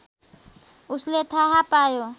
उसले थाहा पायो